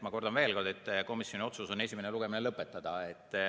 Ma kordan veel kord, et komisjoni otsus on esimene lugemine lõpetada.